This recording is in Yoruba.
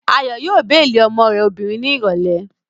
Ayọ̀ yóò béèlì ọmọ rẹ̀ obìnrin ní ìrọ̀lẹ́